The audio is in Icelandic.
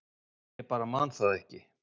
Ég bara man það ekki